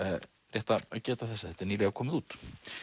rétt að geta þessa þetta er nýlega komið út